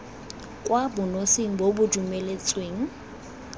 kwa bonosing bo bo dumeletsweng